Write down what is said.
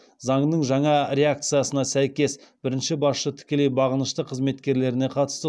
заңның жаңа редакциясына сәйкес бірінші басшы тікелей бағынышты қызметкеріне қатысты